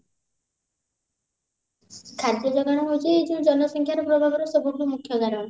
ଖାଦ୍ୟ ଯୋଗାଣ ହଉଛି ଏଇ ଯଉ ଜନସଂଖ୍ୟାର ପ୍ରଭାବରୁ ସବୁଠୁ ମୁଖ୍ୟ କାରଣ